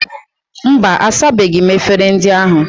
Mba, asabeghi m efere ndị ahụ.